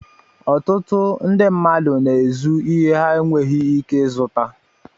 Ọtụtụ ndị mmadụ na-ézu ìhè ha na-enweghi íké izụta